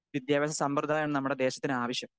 Speaker 2 വിദ്യാഭ്യാസ സമ്പ്രദായാണ് നമ്മുടെ ദേശത്തിനാവശ്യം.